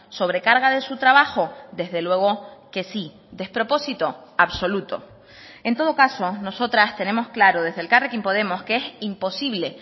sobrecarga de su trabajo desde luego que sí despropósito absoluto en todo caso nosotras tenemos claro desde elkarrekin podemos que es imposible